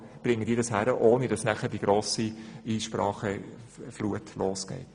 Offenbar bringen die das zustande, ohne dass nachher die grosse Einsprachenflut folgt.